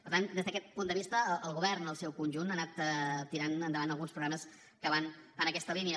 per tant des d’aquest punt de vista el govern en el seu conjunt ha anat tirant endavant alguns programes que van en aquesta línia